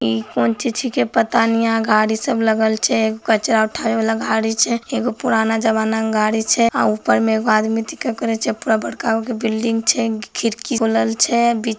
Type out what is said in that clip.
इ कौन ची-ची के पता नहीं गाड़ी सब लगल छे कचरा उठाने वाला गाड़ी छे एगो पुराना जमाना की गाड़ी छे और ऊपर में एक आदमी करें छे पूरा बरका गो के बिल्डिंग छे खिड़की खुलल छै बी--